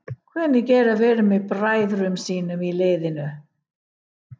Hvernig er að vera með bræðrum sínum í liðinu?